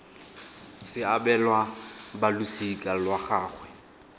se abelwa balosika lwa gagwe